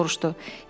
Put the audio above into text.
Emil soruşdu.